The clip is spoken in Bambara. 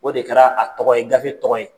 O de kɛra a tɔgɔ ye gafe tɔgɔ ye.